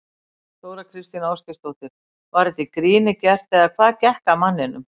Þóra Kristín Ásgeirsdóttir: Var þetta í gríni gert eða hvað gekk að manninum?